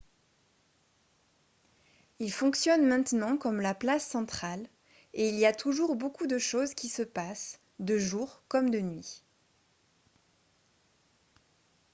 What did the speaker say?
il fonctionne maintenant comme la place centrale et il y a toujours beaucoup de choses qui se passent de jour comme de nuit